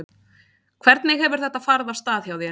Hvernig hefur þetta farið af stað hjá þér?